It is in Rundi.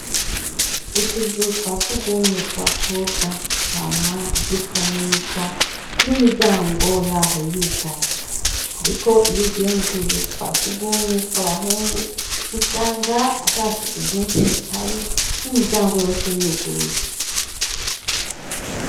Utuzu twa sugumwe tw'abakobwa twama dusa neza n'imiryango yaho yugaye. Ariko iyo ugiye mu tuzu twa sugumwe twabahungu, usanga ata suku ryinshi rihari n'imiryango yose yuguruye.